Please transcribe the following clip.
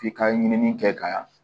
F'i ka ɲinini kɛ ka